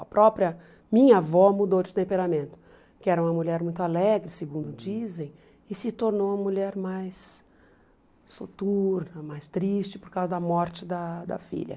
A própria minha avó mudou de temperamento, que era uma mulher muito alegre, segundo dizem, e se tornou uma mulher mais soturna, mais triste por causa da morte da da filha.